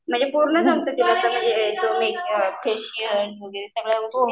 म्हणजे पूर्ण जमतं तिला फेशिअल वगैरे सगळ्या गोष्टी.